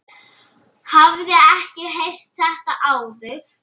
Hafði ekki heyrt þetta áður.